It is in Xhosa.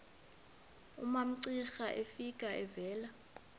umamcira efika evela